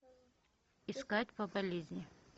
искать по болезни